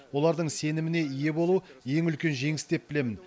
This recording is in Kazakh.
олардың сеніміне ие болу ең үлкен жеңіс деп білемін